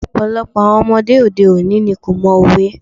Ọ̀pọ̀lọpọ̀ àwọn ọmọdé òde òní ni kò mọ òwe.